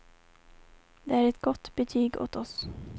Det är ett gott betyg åt oss.